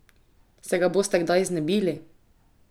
Se ga boste kdaj znebili?